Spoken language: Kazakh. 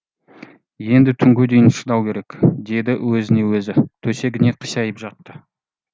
енді түнге дейін шыдау керек деді өзіне өзі төсегіне қисайып жатты